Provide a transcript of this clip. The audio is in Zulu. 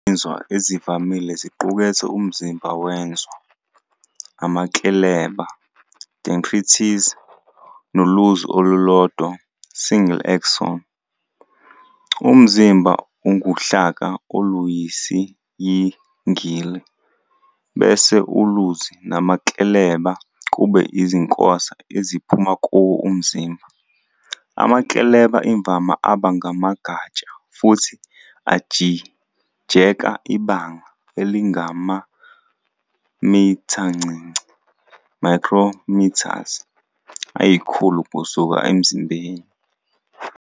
Izinzwa ezivamile ziqukethe umzimba wenZwa, amakleleba "dendrites", noluzi olulodwa "single axon". Umzimba unguhlaka oluyisiyingili, bese uluzi namakleleba kube izinkosa eziphuma kuwo umzimba. Amakleleba imvama aba ngamagatsha futhi ajijeka ibanga elingamamithancinci "micrometers" ayikhulu kusuka emzimbeni.